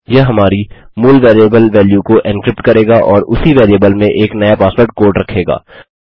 यह हमारी मूल वेरिएबल वैल्यू को एन्क्रिप्ट करेगा और उसी वेरिएबल में एक नया पासवर्ड कोड रखेगा